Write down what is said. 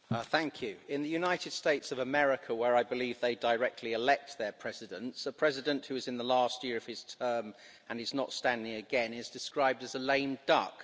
Madam President, in the United States of America, where I believe they directly elect their presidents, a president who is in the last year of his term and is not standing again is described as a lame duck.